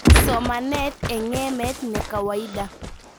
Somanet eng emet nekawaida